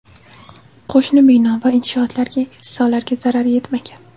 Qo‘shni bino va inshootlarga, insonlarga zarar yetmagan.